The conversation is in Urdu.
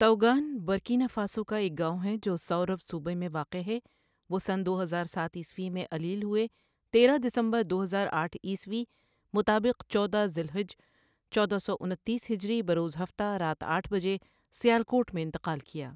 تؤگان برکینا فاسو کا ایک گاؤں ہے جو سؤرؤ صوبہ میں واقع ہے وہ سن دو ہزار سات عیسوی میں علیل ہوئے، تیرہ دسمبر دو ہزار آٹھ عیسوی مطابق چودہ ذو الحج چودہ سو انتیس هجری بروز هفته رات آٹھ بجے سیالکوٹ میں انتقال کیا۔